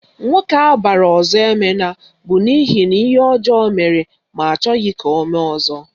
Nwoke abara Ozoemena bụ n'ihi na ihe ọjọọ mere ma achọghị ka o mee ọzọ